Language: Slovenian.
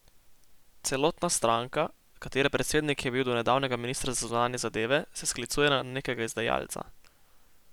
Celotna stranka, katere predsednik je bil do nedavnega minister za zunanje zadeve, se sklicuje na nekega izdajalca!